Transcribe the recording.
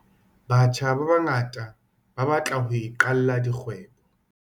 Batjha ba bangata ba batla ho iqalla dikgwebo.